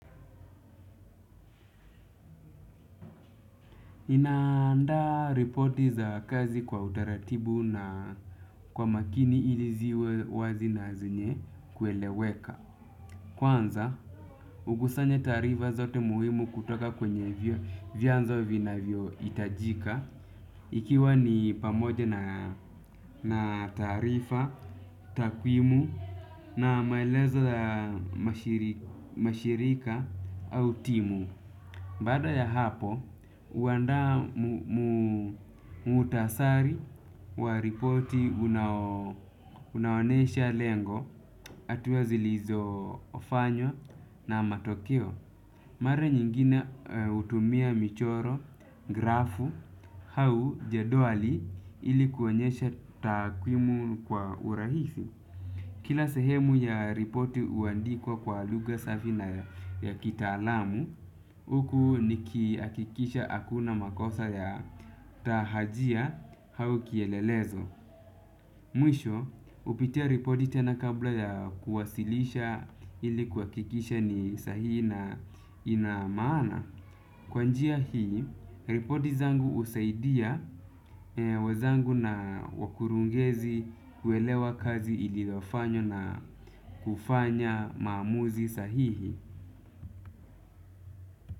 Ninaanda repoti za kazi kwa utaratibu na kwa makini ili ziwe wazi na zenye kweleweka. Kwanza, hukusanya tarifa zote muhimu kutoka kwenye vyanzo vinavyo itajika. Ikiwa ni pamoja na tarifa, takwimu na maelezo ya mashirika au timu. Bada ya hapo, uanda mutasari wa ripoti unaonyesha lengo, atua zilizofanywa na matokeo. Mara nyingine utumia michoro, grafu au jeduali ili kuonyesha takwimu kwa urahisi. Kila sehemu ya ripoti uandikwa kwa luga safi na ya kitaalamu, huku nikihakikisha hakuna makosa ya tahajia au kielelezo. Mwisho, upitia ripoti tena kabla ya kuwasilisha ili kuakikisha ni sahi na ina maana. Kwa njia hii, ripoti zangu husaidia wenzangu na wakurugenzi uwelewa kazi iliyofanywa na kufanya maamuzi sahihi.